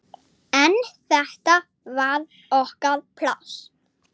En þetta var okkar pláss.